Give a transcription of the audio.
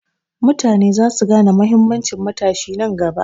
Mutane za su gane mahimmancin matashi nan gaba.